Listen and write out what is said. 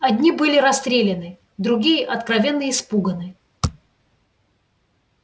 одни были расстреляны другие откровенно испуганы